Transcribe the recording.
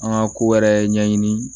An ka kowɛrɛ ɲɛɲini